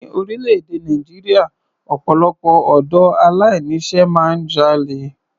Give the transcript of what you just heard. Ní orílẹ̀-èdè Nàìjíríà, ọpọ̀lọpọ̀ ọ̀dọ́ aláìní iṣẹ́ máa ń jalè.